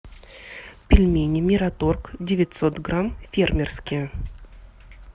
пельмени мираторг девятьсот грамм фермерские